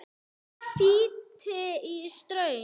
Tvö víti í stöng?